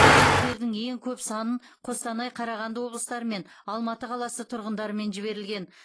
чектердің ең көп санын қостанай қарағанды облыстары мен алматы қаласы тұрғындарымен жіберілген